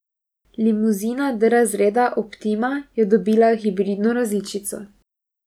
Limuzina D razreda optima je dobila hibridno različico.